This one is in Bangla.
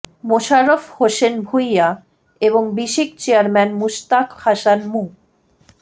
মোশাররফ হোসেন ভূঁইয়া এবং বিসিক চেয়ারম্যান মুশতাক হাসান মুহ